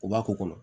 U b'a k'o kɔnɔ